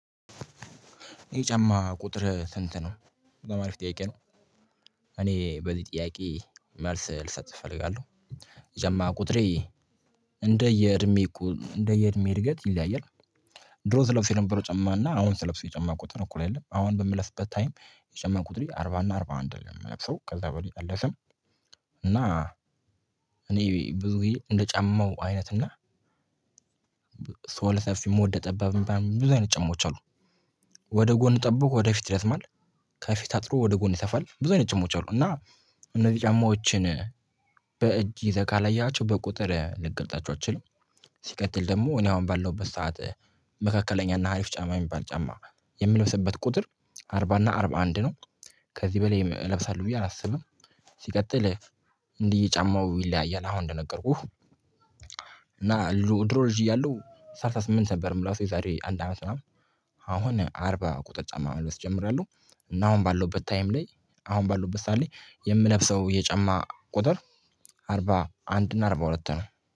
ይሄ ጫማ ቁጥር ስንት ነው? ለማለፍ ጠይቄ ነው። በዚህ ጥያቄ መልስ ልሰጥህ እፈልጋለሁ። ጀማ ቁጥሬ እንደየእድሜ እንደየእድሜ እድገት ይለያያል። ድሮ ስለለብሰው የነበረ ጫማና አሁን ስለብሰው የጨማ ቁጥር እኩል አይደለም አሁን በምለፍበት ታይም የጫማ ቁጥሬ አርባ እና አርባ አንድ ነው የምለብሰው ከዛ በላይ ጠለሰን። እና እኔ ብዙ ጊዜ እንደ ጫማው አይነት እና ሰው ለሰፊ ሞደ ጠባብ የሚባሉ ብዙ አይነት ጫማዎች አሉ። ወደ ጎን ጠብቆ ወደ ፊት ይረዠማል ማለት ከፊት አጥሮ ወደ ጎን ይሰፋል ብዙ አይነት ጫሞች አሉ። እና እነዚህ ጫማዎችን በእጅ ይዘህ ካለያቸው በቁጥር ልትገልጣቸው አትችልም። ሲቀጥል ደግሞ እኔ አሁን ባለሁበት ሰዓት መካከለኛና አሪፍ ጫማ የሚባል ጫማ የምለብስበት ቁጥር አርባ እና አርባ አንድ ነው። ከዚህ በላይ እለብሳለሁ ብዬ አላስብም። ሲቀጥል እንዲህ ጫማው ይለያያል አሁን እንደነገርኩህ። እና ድሮ ድሮ ልጅ እያለሁ ሰላሳ ስምንት ነበር የምላቸው የዛሬ አንድ አመት ምናምን አሁን አርባ ቁጥር ጫማ መልበስ ጀምሬያለሁ። እና አሁን ባለሁበት ታይም ላይ አሁን ባለሁበት ሰዓት ላይ የምለብሰው የጫማ ቁጥር አርባ አንድ እና አርባ ሁለት ነው።